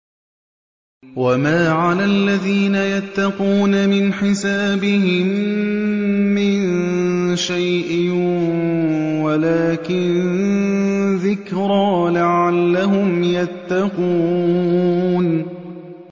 وَمَا عَلَى الَّذِينَ يَتَّقُونَ مِنْ حِسَابِهِم مِّن شَيْءٍ وَلَٰكِن ذِكْرَىٰ لَعَلَّهُمْ يَتَّقُونَ